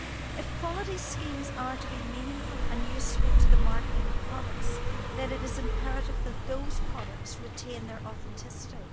If quality schemes are to be meaningful and useful in the marketing of products, then it is imperative that those products retain their authenticity.